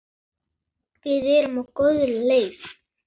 Við erum á góðri leið.